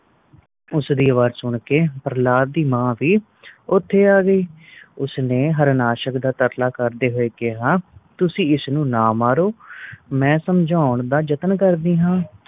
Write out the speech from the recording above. ਉਸ ਦੀ ਅਵਾਜ ਸੁਨ ਕ ਪ੍ਰਹਲਾਦ ਦੀ ਮਾਂ ਵੀ ਓਥੇ ਆ ਗਈ ਉਸ ਨੇ ਹਾਰਨਾਸ਼ਕ ਦਾ ਤਰਲਾ ਕਰਦੇ ਹੋਏ ਕਿਹਾ ਤੁਸੀ ਇਸ ਨੂੰ ਨਾ ਮਾਰੋ ਮੈ ਸਮਝੌਣ ਦਾ ਜਤਨ ਕਰਦੀ ਹਾਂ